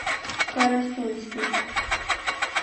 карасунский